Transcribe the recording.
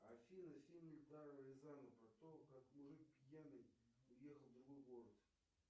афина фильм эльдара рязанова про то как мужик пьяный уехал в другой город